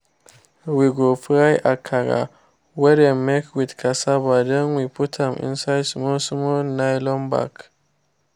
we go fry the akara wey dem make with cassava then we put am inside small small nylon bag